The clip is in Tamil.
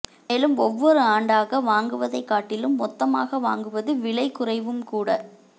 மேலும் ஒவ்வொரு ஆண்டாகவாங்குவதை காட்டிலும் மொத்தமாக வாங்குவது விலை குறைவும் கூட